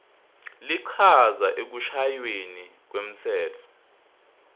lichaza ekushayweni kwemtsetfo